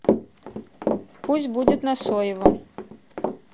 пусть будет на соевом